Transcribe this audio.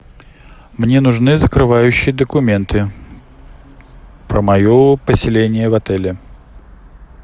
мне нужны закрывающие документы про мое поселение в отеле